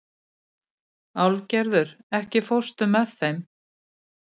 Álfgerður, ekki fórstu með þeim?